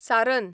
सारन